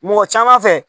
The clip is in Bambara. Mɔgɔ caman fɛ